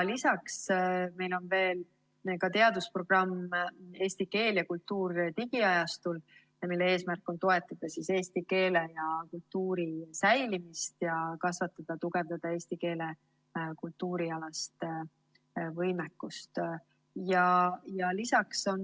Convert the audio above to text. Lisaks on meil teadusprogramm "Eesti keel ja kultuur digiajastul", mille eesmärk on toetada eesti keele ja kultuuri säilimist ning kasvatada ja tugevdada eesti keele ja kultuuri alast võimekust.